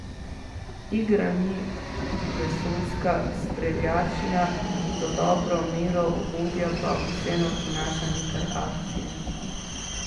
Igra ni vesoljska streljačina, za dobro mero ugodja pa vseeno prinaša nekaj akcije.